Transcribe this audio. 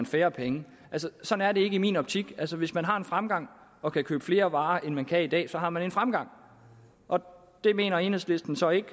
færre penge sådan er det ikke i min optik altså hvis man har en fremgang og kan købe flere varer end man kan i dag så har man en fremgang og det mener enhedslisten så ikke